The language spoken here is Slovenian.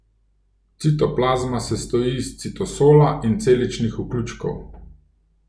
Citoplazma sestoji iz citosola in celičnih vključkov.